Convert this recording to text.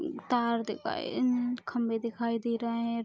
तार दिखाई मम खम्बे दिखाई दे रहे हैं।